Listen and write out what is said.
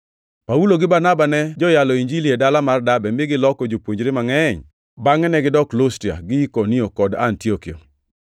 Paulo gi Barnaba ne joyalo Injili e dala mar Derbe mi giloko jopuonjre mangʼeny. Bangʼe negidok Lustra, gi Ikonio kod Antiokia,